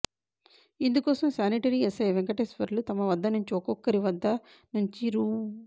ఇందుకోసం sanitary SI Venkateswarlu తమ వద్ద నుంచి ఒక్కొక్కరి వద్ద నుంచి రూ